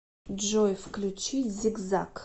джой включить зигзаг